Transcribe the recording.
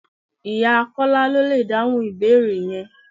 Ìyá Kọ́lá lọ lè dáhùn ìbéèrè yẹn.